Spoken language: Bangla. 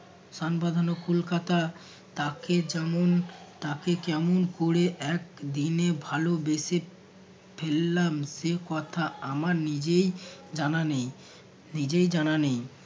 সান বাঁধানো কলকাতা তাকে যেমন তাকে কেমন করে এক দিনে ভালোবেসে ফেললাম সে কথা আমার নিজেই জানা নেই নিজেই জানা নেই